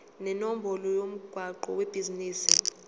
nenombolo yomgwaqo webhizinisi